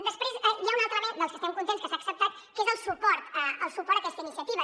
després hi ha un altre element del que estem contents que s’ha acceptat que és el suport a aquesta iniciativa